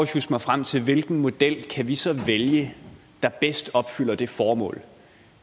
sjusse mig frem til hvilken model vi så kan vælge der bedst opfylder det formål